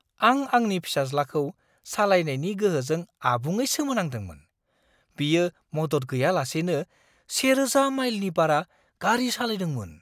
आं आंनि फिसाज्लाखौ सालायनायनि गोहोजों आबुङै सोमोनांदोंमोन। बियो मदद गैयालासेनो 1000 माइलनि बारा गारि सालायदोंमोन!